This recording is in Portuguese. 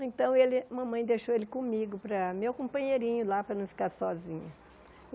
Então, ele mamãe deixou ele comigo, para meu companheirinho lá, para não ficar sozinha.